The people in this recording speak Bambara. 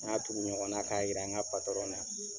N y'a tugu ɲɔgɔn na k'a yira n ka na.